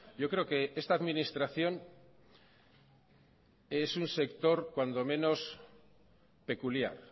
yo creo que esta administración es un sector cuando menos peculiar